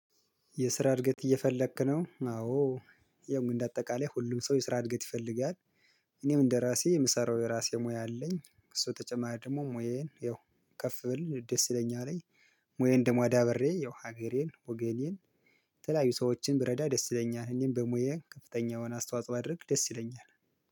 የስራ እድገት እየፈለክ ነው? አዎ ያው እንደ አጠቃላይ ሁሉም ሰው የስራ እድገት ይፈልጋል። እኔም እንደራሴ የምሰራው የራሴ ሙያ አለኝ። እሱ ተጨማሪ ደግሞ ሙያዬን ያው ከፍ ብል ደስ ይለኛል። ሙያዬን ደም አዳበሬ ያው ሀገሬን ወገኔን የተለያዩ ሰዎችን ብረዳ ደስ ይለኛል። እኔም በሙያዬ ከፍተኛውን አስተዋጽኦ ባደርግ ደስ ይለኛል